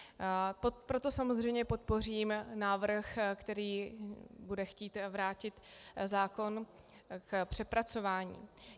Proto samozřejmě podpořím návrh, který bude chtít vrátit zákon k přepracování.